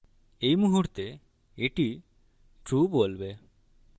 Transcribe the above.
at মুহুর্তে at true বলবে